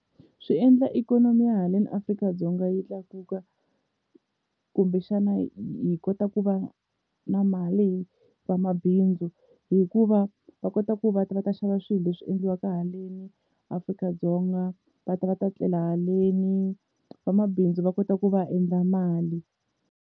Swi endla ikhonomi ya haleni Afrika-Dzonga yi tlakuka, kumbexana hi kota ku va na mali hi vamabindzu hikuva va kota ku va ta va ta xava swilo leswi endliwaka haleni Afrika-Dzonga, va ta va ta tlela haleni vamabindzu va kota ku va endla mali.